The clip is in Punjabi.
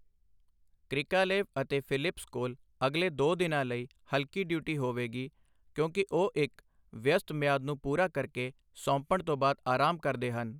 ਕ੍ਰਿਕਾਲੇਵ ਅਤੇ ਫਿਲਿਪਸ ਕੋਲ ਅਗਲੇ ਦੋ ਦਿਨਾਂ ਲਈ ਹਲਕੀ ਡਿਊਟੀ ਹੋਵੇਗੀ, ਕਿਉਂਕਿ ਉਹ ਇੱਕ ਵਿਅਸਤ ਮਿਆਦ ਨੂੰ ਪੂਰਾ ਕਰਕੇ ਸੌਂਪਣ ਤੋਂ ਬਾਅਦ ਆਰਾਮ ਕਰਦੇ ਹਨ।